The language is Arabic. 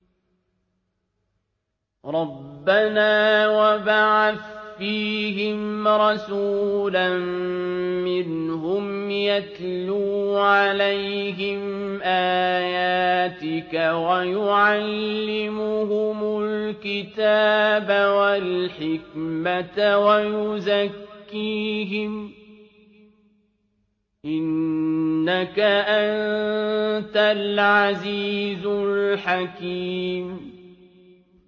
رَبَّنَا وَابْعَثْ فِيهِمْ رَسُولًا مِّنْهُمْ يَتْلُو عَلَيْهِمْ آيَاتِكَ وَيُعَلِّمُهُمُ الْكِتَابَ وَالْحِكْمَةَ وَيُزَكِّيهِمْ ۚ إِنَّكَ أَنتَ الْعَزِيزُ الْحَكِيمُ